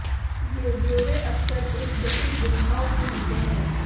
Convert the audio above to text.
ये ब्यौरे अकसर एक जटिल गुंथाव में होते हैं